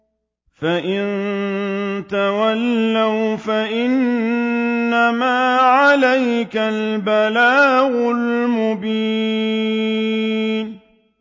فَإِن تَوَلَّوْا فَإِنَّمَا عَلَيْكَ الْبَلَاغُ الْمُبِينُ